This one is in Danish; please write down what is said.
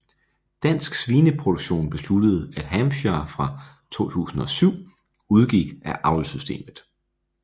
Dansk Svineproduktion besluttede at Hampshire fra 2007 udgik af avlssystemet